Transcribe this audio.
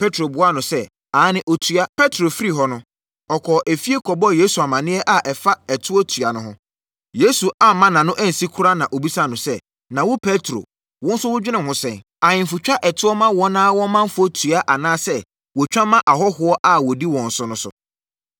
Petro buaa no sɛ, “Aane ɔtua.” Petro firi hɔ no, ɔkɔɔ efie kɔbɔɔ Yesu amaneɛ a ɛfa ɛtoɔtua no ho. Yesu amma nʼano ansi koraa na ɔbisaa no sɛ, “Na wo Petro, wo nso wodwene ho sɛn? Ahemfo twa ɛtoɔ ma wɔn ara wɔn ɔmanfoɔ tua anaasɛ wɔtwa ma ahɔhoɔ a wɔdi wɔn so no?”